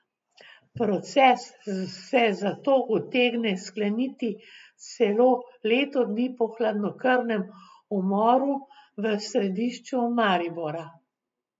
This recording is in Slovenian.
Proces se zato utegne skleniti celo leto dni po hladnokrvnem umoru v središču Maribora.